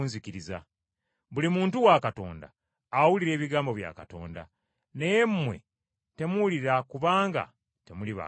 Buli muntu wa Katonda awulira ebigambo bya Katonda. Naye mmwe temuwulira kubanga temuli ba Katonda.”